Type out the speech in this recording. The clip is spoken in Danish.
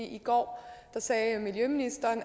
i går sagde miljøministeren